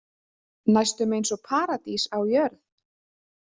Næstum eins og Paradís á jörð.